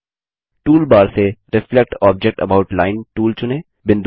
toolbar से reflect object about Lineटूल चुनें